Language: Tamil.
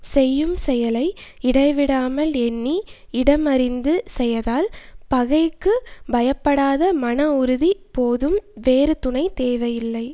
செய்யும் செயலை இடைவிடாமல் எண்ணி இடம் அறிந்து செயதால் பகைக்குப் பயப்படாத மனஉறுதி போதும் வேறு துணை தேவை இல்லை